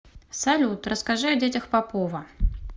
салют расскажи о детях попова